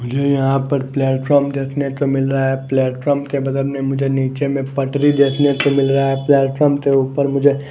मुझे यहाँ पर प्लेटफार्म देखने को मिल रहा है प्लेटफार्म के बदल में मुझे नीचे में पटरी देखने को मिल रहा है प्लेटफॉर्म के ऊपर मुझे --